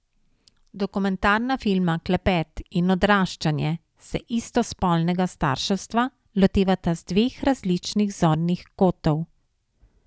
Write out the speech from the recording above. Dokumentarna filma Klepet in Odraščanje se istospolnega starševstva lotevata z dveh različnih zornih kotov.